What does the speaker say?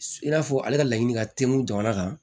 I n'a fɔ ale ka laɲini ka teli kun jamana kan